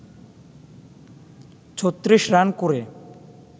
৩৬ run করে